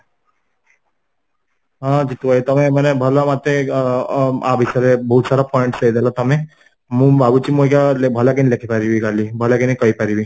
ହଁ ଜିତୁ ଭାଇ ମତେ ଅ ୟା ବିଶ୍ୱରେ ବହୁତ ସାରା points ଦେଇଦେଲା ତମେ ମୁଁ ଭାବୁଛି ଅ ଭଲକି ଲେଖି ପାରିବି କଲି ଭାଲକିନା କହିପାରିବି